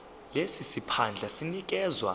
lesi siphandla sinikezwa